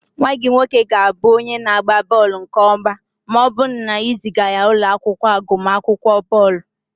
Nwa gị nwoke ga-abụ onye na-agba bọọlụ nke ọma ma ọ bụrụ na ị zịga ya ụlọ akwụkwọ agụmakwụkwọ bọọlụ